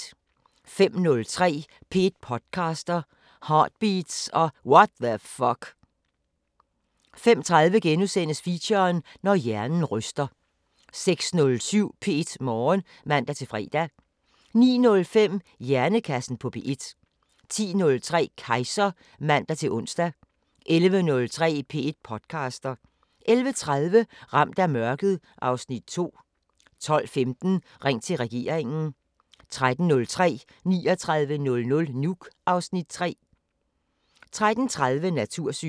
05:03: P1 podcaster – Heartbeats og What the Fuck 05:30: Feature: Når hjernen ryster * 06:07: P1 Morgen (man-fre) 09:05: Hjernekassen på P1 10:03: Kejser (man-ons) 11:03: P1 podcaster 11:30: Ramt af mørket (Afs. 2) 12:15: Ring til regeringen 13:03: 3900 Nuuk (Afs. 3) 13:30: Natursyn